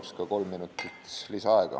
Palun ka kolm minutit lisaaega.